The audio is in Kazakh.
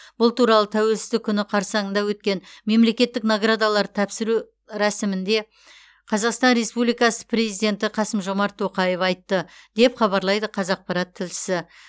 бұл туралы тәуелсіздік күні қарсаңында өткен мемлекеттік наградаларды тапсыру рәсімінде қазақстан республикасы президенті қасым жомарт тоқаев айтты деп хабарлайды қазақпарат тілшісі